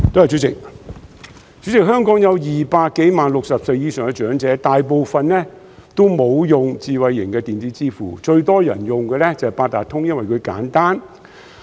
主席，香港有200多萬名60歲以上長者，大部分也沒有使用智慧型的電子支付，最多人用的便是八達通卡，因為簡單。